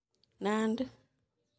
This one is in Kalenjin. Nandi